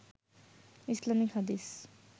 Islamic হাদিস